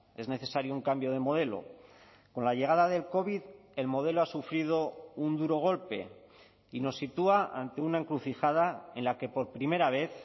es necesario un cambio de modelo con la llegada del covid el modelo ha sufrido un duro golpe y nos sitúa ante una encrucijada en la que por primera vez